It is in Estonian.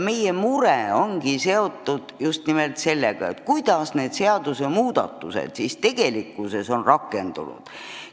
Meie mure ongi, kuidas need seadusmuudatused tegelikkuses on rakendunud.